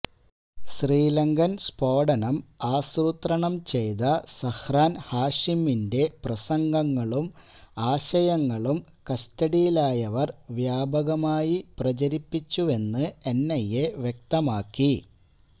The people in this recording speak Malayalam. ശ്രീലങ്കൻ സ്ഫോടനം ആസൂത്രണം ചെയ്ത സഹ്രാൻ ഹാഷിമിന്റെ പ്രസംഗങ്ങളും ആശയങ്ങളും കസ്റ്റഡിയിലായവർ വ്യാപകമായി പ്രചരിപ്പിച്ചുവെന്ന് എൻഐഎ വ്യക്തമാക്കി